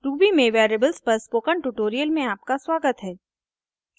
ruby में variables पर spoken tutorial में आपका स्वागत है